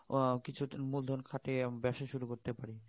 কিছু আহ মুলধন খাটিয়ে ব্যবসা শুরু করতে পারি